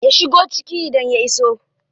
Ya shigo ciki idan ya iso.